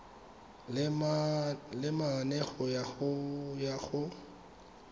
le mane go ya go